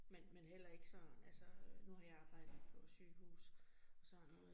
Men men heller ikke sådan, altså øh nu har jeg arbejdet på sygehus og sådan noget